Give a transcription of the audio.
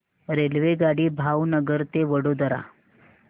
रेल्वेगाडी भावनगर ते वडोदरा